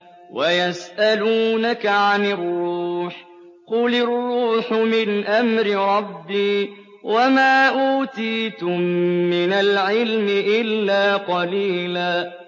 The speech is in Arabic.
وَيَسْأَلُونَكَ عَنِ الرُّوحِ ۖ قُلِ الرُّوحُ مِنْ أَمْرِ رَبِّي وَمَا أُوتِيتُم مِّنَ الْعِلْمِ إِلَّا قَلِيلًا